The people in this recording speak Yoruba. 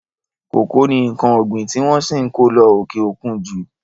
Kòkó ni nǹkan ọ̀gbin tí wọ́n ṣì ǹ kó lọ òkè òkun ju.